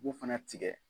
U b'u fana tigɛ